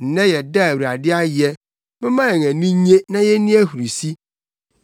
Nnɛ yɛ da a Awurade ayɛ. Momma yɛn ani nnye na yenni ahurusi.